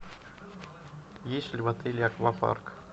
есть ли в отеле аквапарк